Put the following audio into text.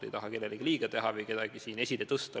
Ma ei taha kellelegi liiga teha või kedagi esile tõsta.